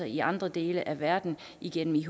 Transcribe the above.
i andre dele af verden igennem ihp